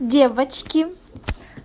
девочки